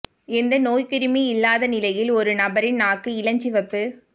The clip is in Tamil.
எந்த நோய்க்கிருமி இல்லாத நிலையில் ஒரு நபரின் நாக்கு இளஞ்சிவப்பு